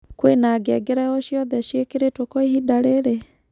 kwĩna ngengere o cĩothe cĩĩkĩrĩtwo kwa ĩhĩnda riri